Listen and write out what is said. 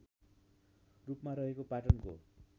रूपमा रहेको पाटनको